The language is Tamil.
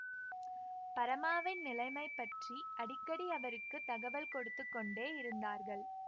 பரமாவின் நிலைமை பற்றி அடிக்கடி அவருக்கு தகவல் கொடுத்து கொண்டே இருந்தார்கள்